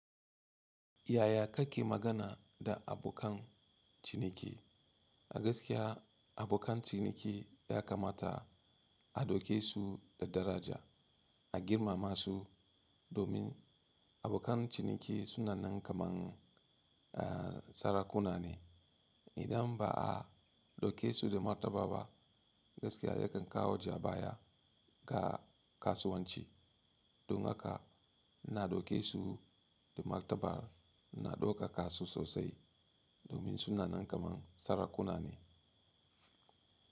Yaya kake magana da abokan ciniki? Gaskiya abokan ciniki ya kamata a ɗauke su da daraja, a girmama su domin abokan ciniki sunanan kaman sarakuna ne. Idan ba a ɗauke su da martaba ba gaskiya yakan kawo jabawa ga kasuwanci. Don haka ina ɗauke su da martaba, ina ɗauka kasu sosai domin sunanan kamar sarakuna ne.